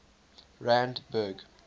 randburg